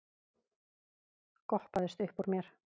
goppaðist uppúr mér.